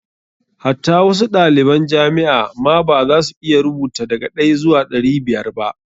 Hatta wasu ɗaliban jamia ma ba za su iya rubuta daga ɗaya zuwa ɗari biyar ba.